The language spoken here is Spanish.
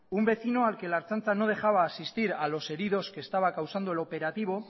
un vecino al que la ertzaintza no dejaba asistir a los heridos que estaba causando el operativo